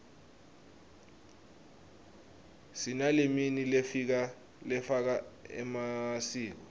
sinaleminy lefaka emasiko